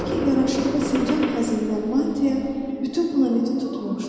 Lakin yaraşıqlı sincap xəzindən mantya bütün planeti tutmuşdu.